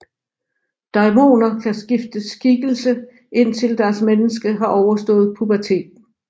Daimoner kan skifte skikkelse indtil deres menneske har overstået puberteten